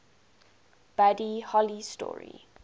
buddy holly story